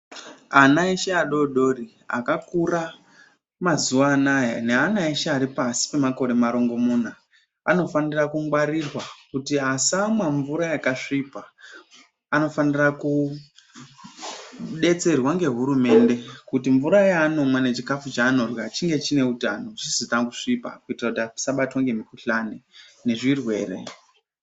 Ana eshe adodori akakura mazuva anaya neana eshe aripashi pemakore marongomuna. Anofanira kungwarirwa kuti asamwa mvura yakasvipa anofanira kubetserwa ngehurumende kuti mvura yaanomwa nechikafu chaanorya chive chine utano chisina kusvipa. Kuitira kuti asabatwa ngemukuhlani nezvirwere.